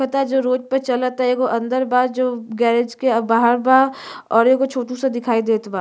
पता जो रोड पर चलता। एगो अंदर बा जो गैरेज के बाहर बा और एगो छोटू सा देखई देत बा।